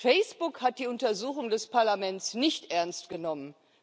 Facebook hat die Untersuchung des Parlaments nicht ernst genommen.